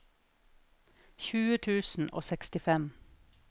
tjue tusen og sekstifem